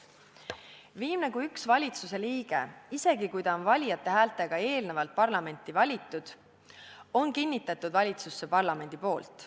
Viimse kui ühe valitsusliikme, isegi kui ta on valijate häältega eelnevalt parlamenti valitud, on kinnitanud valitsusse parlament.